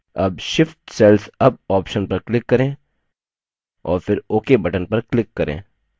अब shift cells up option पर click करें और फिर ok button पर click करें